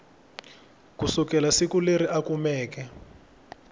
kusukela siku leri a kumeke